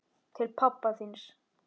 Til pabba þíns.